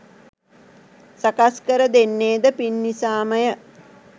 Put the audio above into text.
සකස් කර දෙන්නේ ද පින් නිසාමය.